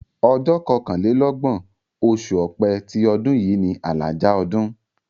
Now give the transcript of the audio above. Ọjọ́ kọkànlélọ́gbọ̀n, oṣù Ọ̀pẹ ti ọdún yìí ni àlàjá ọdún.